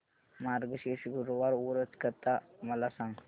मार्गशीर्ष गुरुवार व्रत कथा मला सांग